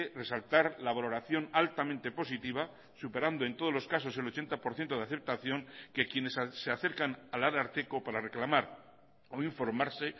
resaltar la valoración altamente positiva superando en todos los casos el ochenta por ciento de aceptación que quienes se acercan al ararteko para reclamar o informarse